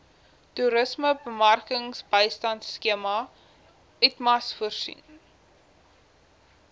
toerismebemarkingsbystandskema itmas voorsien